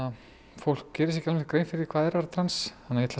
fólk gerir sér alveg grein fyrir því hvað er að vera trans